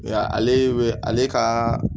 Nka ale bɛ ale ka